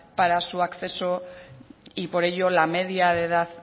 para su acceso y por ello la media de edad